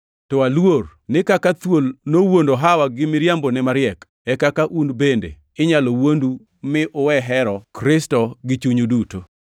To aluor ni kaka thuol nowuondo Hawa gi miriambone mariek, e kaka un bende inyalo wuondu mi uwe hero Kristo gi chunyu duto.